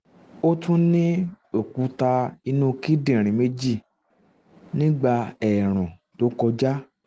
ó tún ní òkúta inú kíndìnrín um méjì nígbà ẹ̀ẹ̀rùn tó kọjá